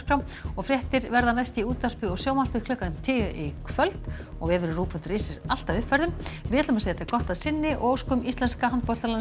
fréttir verða í útvarpi og sjónvarpi klukkan tíu í kvöld og vefurinn rúv punktur is er alltaf uppfærður segjum þetta gott að sinni og óskum íslenska handboltalandsliðinu